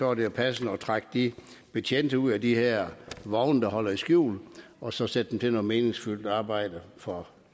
er det passende at trække de betjente ud af de her vogne der holder i skjul og så sætte dem til noget meningsfyldt arbejde for